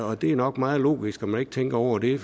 og det er nok meget logisk at man ikke tænker over det